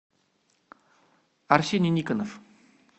арсений никонов